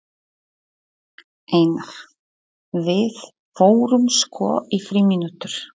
Einar: Við förum sko í frímínútur.